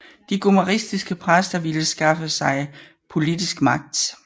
De gomaristiske præster ville skaffe sig politisk magt